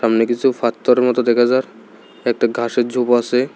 সামনে কিসু ফাত্তার মতো দেখা যার একটা ঘাসের ঝোপ আসে।